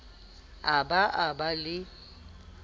a ba a ba le